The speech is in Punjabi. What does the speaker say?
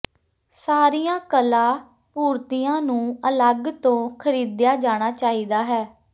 ਸਾਰੀਆਂ ਕਲਾ ਪੂਰਤੀਆਂ ਨੂੰ ਅਲੱਗ ਤੋਂ ਖਰੀਦਿਆ ਜਾਣਾ ਚਾਹੀਦਾ ਹੈ